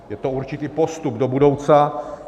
Je to určitý postup do budoucna.